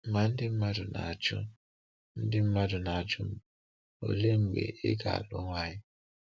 Ma ndị mmadụ na-ajụ ndị mmadụ na-ajụ m, “Olee mgbe ị ga-alụ nwanyị?”